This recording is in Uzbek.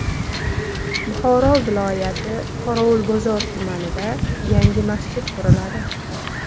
Buxoro viloyati Qorovulbozor tumanida yangi masjid quriladi.